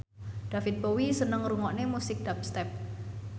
David Bowie seneng ngrungokne musik dubstep